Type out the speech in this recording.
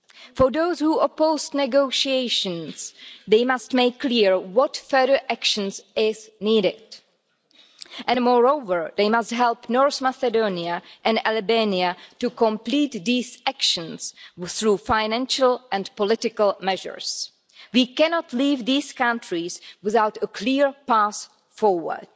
For those who oppose negotiations, they must make clear what further actions are needed, and moreover, they must help North Macedonia and Albania to complete these actions through financial and political measures. We cannot leave these countries without a clear path forward.